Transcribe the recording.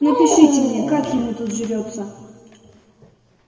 напишите мне как ему тут живётся